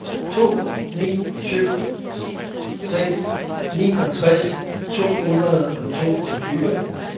to ni seks syv niogtres to hundrede og toogtyve